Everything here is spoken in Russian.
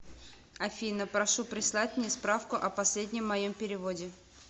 афина прошу прислать мне справку о последнем моем переводе